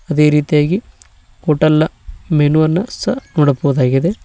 ಅದೇ ರೀತಿಯಾಗಿ ಹೋಟೆಲ್ನ ಮೆನು ಅನ್ನ ಸಹ ನೋಡಬಹುದಾಗಿದೆ.